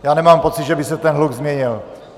Já nemám pocit, že by se ten hluk změnil.